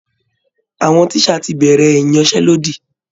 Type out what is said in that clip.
Àwọn tíṣà ti bẹ̀rẹ̀ ìyanṣẹ́lódì